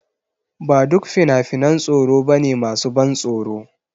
Ba duk fina-finan tsoro ba ne masu ban tsoro.